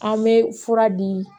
An bɛ fura di